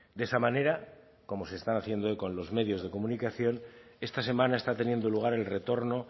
de esa manera como se están haciendo eco en los medios de comunicación esta semana está teniendo lugar el retorno